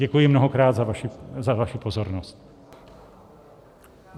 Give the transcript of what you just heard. Děkuji mnohokrát za vaši pozornost.